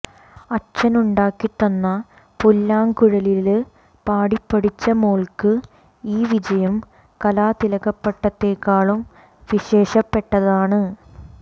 അച്ഛനുണ്ടാക്കി തന്ന പുല്ലാങ്കുഴലില് പാടിപ്പഠിച്ച മോള്ക്ക് ഈ വിജയം കലാതിലകപ്പട്ടത്തേക്കാളും വിശേഷപ്പെട്ടതാണ്